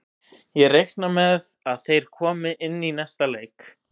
Ég reikna með að þeir komi inn í næsta leik.